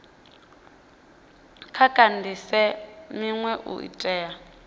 vha kandise minwe u itela